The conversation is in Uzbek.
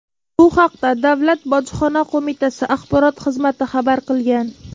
Bu haqda Davlat bojxona qo‘mitasi Axborot xizmati xabar qilgan .